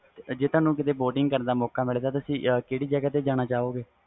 ਜੇ ਤੁਹਾਨੂੰ boating ਕਰਨ ਦਾ ਮੌਕਾ ਮਿਲੇ ਤੁਸੀ ਕਿਸ ਜਗ੍ਹਾ ਤੇ ਜਾਣਾ ਪਸੰਦ ਕਰੋ ਗੇ